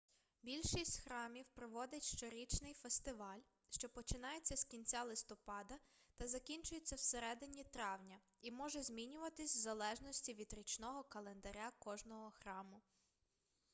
більшість храмів проводить щорічний фестиваль що починається з кінця листопада та закінчується всередині травня і може змінюватись в залежності від річного календаря кожного храму